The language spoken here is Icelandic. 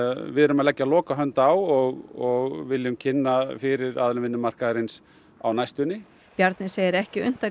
við erum að leggja lokahönd á og munum kynna fyrir aðilum vinnumarkaðarins á næstunni Bjarni segir ekki unnt að